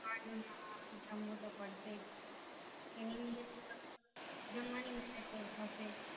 હા હા જમવું તો પડશેજ એની નિયતિ પણ જમવાની મહેનત તો થશે જ